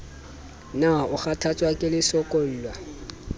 na o kgathatswa ke lesokolla